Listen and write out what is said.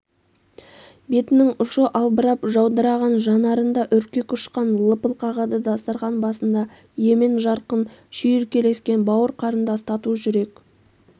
бетінің ұшы албырап жаудыраған жанарында үркек ұшқын лыпыл қағады дастархан басында емен-жарқын шүйіркелескен бауыр-қарындас тату жүрек